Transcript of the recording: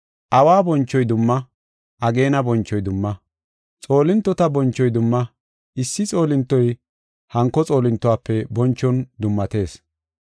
Awa bonchoy dumma; ageena bonchoy dumma; xoolintota bonchoy dumma; issi xoolintoy hanko xoolintuwafe bonchon dummatees.